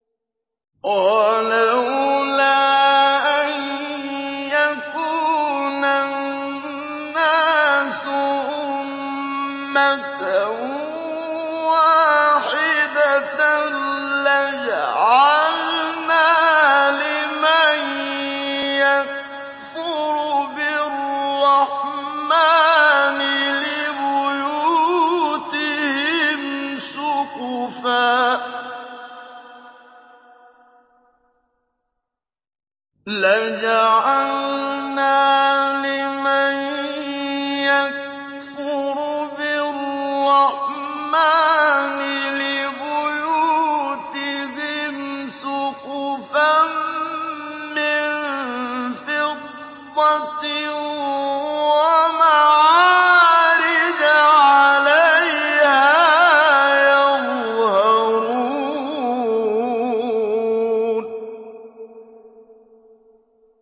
وَلَوْلَا أَن يَكُونَ النَّاسُ أُمَّةً وَاحِدَةً لَّجَعَلْنَا لِمَن يَكْفُرُ بِالرَّحْمَٰنِ لِبُيُوتِهِمْ سُقُفًا مِّن فِضَّةٍ وَمَعَارِجَ عَلَيْهَا يَظْهَرُونَ